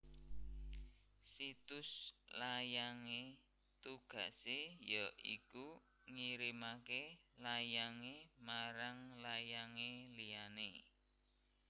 Situs layang e tugase ya iku ngirimake layang e marang layang e liyane